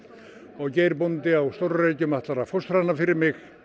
og Geir bóndi á stóru Reykjum ætlar að fóstra hana fyrir mig